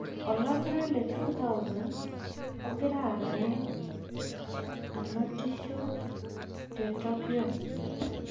Olakira le 2020, ogira aarare anotisho te Tokiyo